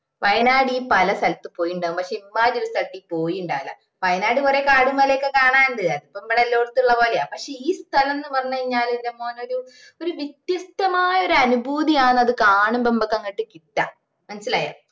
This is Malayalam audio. വയ്നാട് ഇയ്യ്‌ പല സ്ഥലത്തും പോയിട്ട് ഇണ്ടാവും പക്ഷെ ഇമ്മായിരി ഒരു സ്ഥലത്തു ഇയ്യ് പോയിട്ടുണ്ടാവൂല വയ്യനാട് കൊറേ കാടും മലയുഒക്കെ കാണാനുണ്ട് അതിപ്പോ മ്മളെ എല്ലായിടത്തും ഇള്ള പോലെയാ പക്ഷെ ഈ സ്ഥലംന്ന് പറഞ്ഞു കഴിഞ്ഞാല് ന്റെ മോനേ ഒരു വ്യത്യസ്തമായ ഒരു അനുഭൂതിയാണ് അത് കാണുമ്പോ മ്മൾക്ക് അങ്ങട്ട് കിട്ട മനസ്സിലായാ